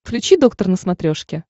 включи доктор на смотрешке